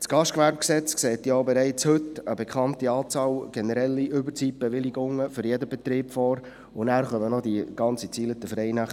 Das GGG sieht ja bereits heute eine bekannte Anzahl an generellen Überzeitbewilligungen für jeden Betrieb vor, und hinzu kommt noch eine ganze Anzahl an Freinächten.